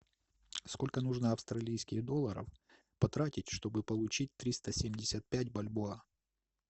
сколько нужно австралийских долларов потратить чтобы получить триста семьдесят пять бальбоа